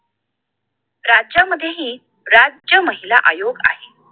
राज्यांमध्येही राज्य महिला आयोग आहे